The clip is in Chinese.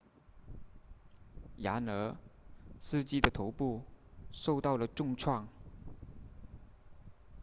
然而司机的头部受到了重创